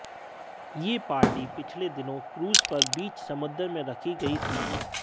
यह पार्टी पिछले दिनों क्रूज पर बीच समंदर में रखी गई थी